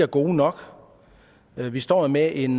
gode nok vi vi står med en